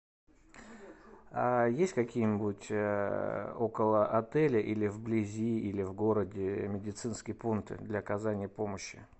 есть какие нибудь около отеля или вблизи или в городе медицинские пункты для оказания помощи